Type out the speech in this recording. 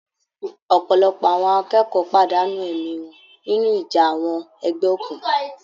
Ọ̀pọ̀lọpọ̀ àwọn akẹ́kọ̀ọ́ pàdánù ẹ̀mí wọn nínú ìjà àwọn ẹgbẹ́ òkùnkùn.